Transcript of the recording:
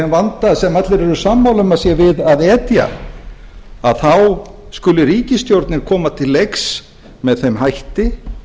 þeim vanda sem allir eru sammála um að sé við að etja að þá skuli ríkisstjórnin koma til leiks með þeim hætti